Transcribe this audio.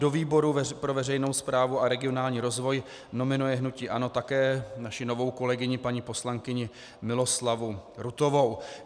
Do výboru pro veřejnou správu a regionální rozvoj nominuje hnutí ANO také naši novou kolegyni paní poslankyni Miloslavu Rutovou.